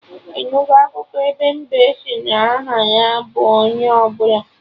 Ị nugo akụkọ ebe mbe sị na aha ya bụ 'onye ọbụla'?